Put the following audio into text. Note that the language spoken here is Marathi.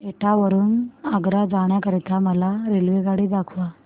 एटा वरून आग्रा जाण्या करीता मला रेल्वेगाडी दाखवा